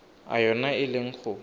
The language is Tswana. a yona e leng go